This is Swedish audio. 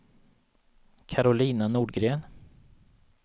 Karolina Nordgren